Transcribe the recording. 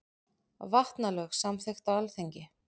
Vatnalög samþykkt á Alþingi.